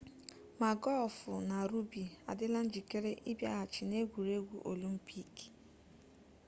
ma gọlfụ na rọgbi adịla njikere ịbịaghachi n'egwuregwu olimpik